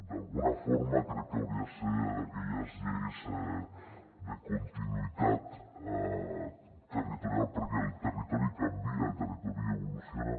d’alguna forma crec que hauria de ser d’aquelles lleis de continuïtat territorial perquè el territori canvia el territori evoluciona